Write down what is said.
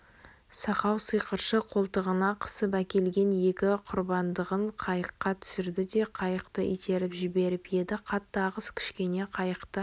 сақау сиқыршы қолтығына қысып әкелген екі құрбандығын қайыққа түсірді де қайықты итеріп жіберіп еді қатты ағыс кішкене қайықты